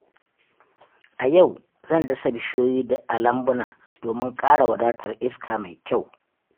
A yau, zan dasa bishiyoyi a lambuna domin ƙara wadatar iska mai kyau.